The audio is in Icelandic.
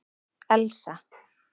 Elsa